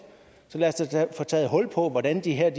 så lad os da få taget hul på hvordan de her